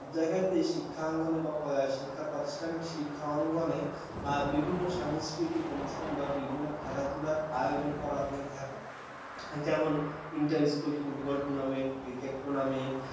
সব জায়গাতেই শিক্ষাঙ্গনে বা শিক্ষা প্রতিষ্ঠানে শিক্ষাঙ্গনে বিভিন্ন সাংস্কৃতিক অনুষ্ঠান বা বিভিন্ন খেলাধুলার আয়োজন করা হয়ে থাকে কেমন inter school tournament, football tournament, cricket tournament ।